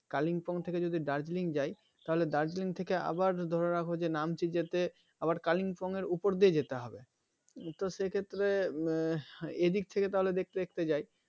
kalingpong থেকে যদি Darjeeling যাই তাহলে Darjeeling থেকে আবার ধরে রাখো যে Namchi যেতে আবার Kalimpong এর উপর দিয়ে যেতে হবে তো সেই ক্ষেত্রে উম এইদিক থেকে তাহলে দেখতে দেখতে যাই